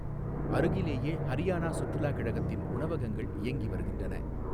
அருகிலேயே ஹரியானா சுற்றுலா கழகத்தின் உணவகங்கள் இயங்கி வருகின்றன.